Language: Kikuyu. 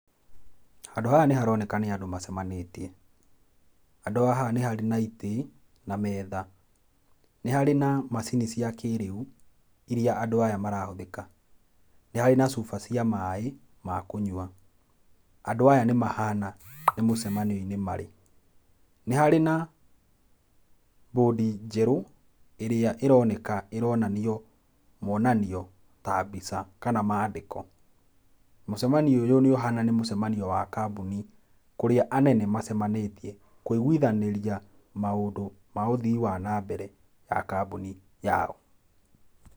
Handũ haha nĩ haroneka nĩ andũ macemanĩtie handũ haha nĩ harĩ na itĩ na metha nĩ harĩ na macini cia kĩrĩu iria andũ aya marahũthĩka. Nĩ harĩ na cuba cia maaĩ ma kũnyua andũ aya nĩ mahana nĩ mũcemanio-inĩ marĩ. Nĩ harĩ na board njerũ ĩrĩa ĩroneka ĩronanio monanio ta mbica kana mandĩko. Mũcemanio ũyũ nĩ ũhana nĩ mũcemanio wa kambuni kũria anene macemanĩtie kũiguithanĩria maíĩndũ ma ũthii wa na mbere ma kambuni yao.